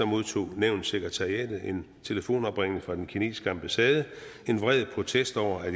modtog nævnets sekretariat en telefonopringning fra den kinesiske ambassade en vred protest over at